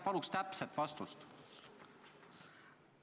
Palun täpset vastust!